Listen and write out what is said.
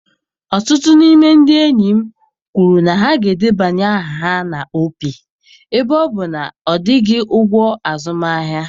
Ọtụtụ n'ime ndị enyi m kwuru na ha ga-edebanye aha na Opay Ebe ọ bụ na ọ dịghị ụgwọ azụmahịa